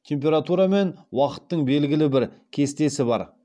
температура мен уақыттың белгілі бір кестесі бар